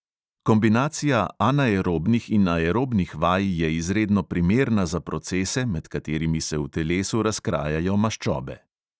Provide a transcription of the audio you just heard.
Kombinacija anaerobnih in aerobnih vaj je izredno primerna za procese, med katerimi se v telesu razkrajajo maščobe.